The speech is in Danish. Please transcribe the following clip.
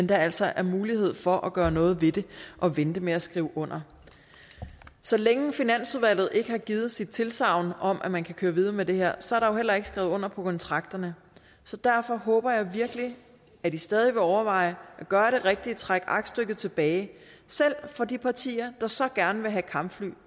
der altså er mulighed for at gøre noget ved det og vente med at skrive under så længe finansudvalget ikke har givet sit tilsagn om at man kan køre videre med det her så heller ikke skrevet under på kontrakterne så derfor håber jeg virkelig at i stadig vil overveje at gøre det rigtige trække aktstykket tilbage selv for de partier der så gerne vil have kampfly